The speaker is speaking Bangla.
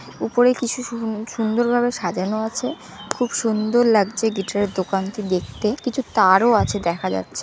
উপরে কিছু সুন্দ সুন্দর ভাবে সাজানো আছে খুব সুন্দর লাগছে গিটার এর দোকানটি দেখতে কিছু তারও আছে দেখা যাচ্ছে।